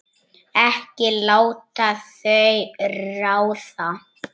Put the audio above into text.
Ekki láta þau ráða.